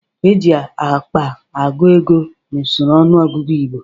E ji akpa agụ ego n'usoro ọnụọgụgụ Igbo.